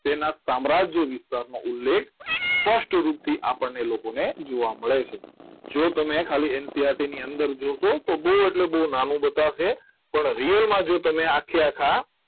તેના સામ્રાજ્ય વિસ્તારનો ઉલ્લેખ સ્પષ્ટ રૂપથી આપણને લોકોને જોવા મળે છે જો તમે ખાલી NCERT ની અંદર જોશો તો બહુ એટલે બહુ નાનું બતાવશે પણ real માં જ આખે આખા જો તમે આખે આખા